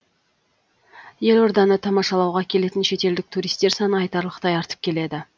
елорданы тамашалауға келетін шетелдік туристер саны айтарлықтай артып келеді